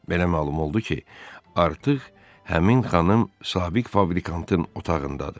Belə məlum oldu ki, artıq həmin xanım sabiq fabrikantın otağındadır.